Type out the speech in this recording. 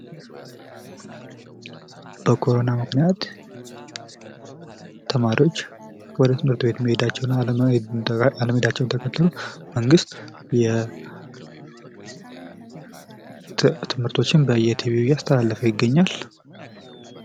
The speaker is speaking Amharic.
በኮሮና ምክንያት ተማሪዎች ወደ ትምህርት ቤት አለመሄዳቸውን ተከትሎ መንግስት ትምህርቶችን በየቲቪው እያስተላለፈ ይገኛል።